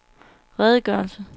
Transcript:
redegørelse